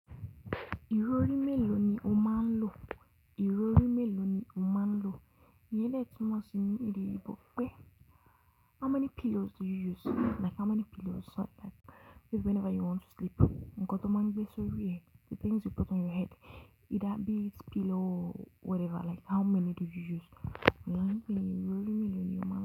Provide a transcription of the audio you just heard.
Ìrọrí mélòó ni o máa ń lò? Ìrọrí mélòó ni o máa ń lò? Iyen de tu mó si ni èdè oyinbo pé how many pillows do you use? Like how many pillows like, like whenever you want to sleep. Nkan to máa ń gbé sórí ẹ. The things you put on your head, either be it pillow or whatever, like how many do you use? Ìrọrí mélòó ni o máa ń?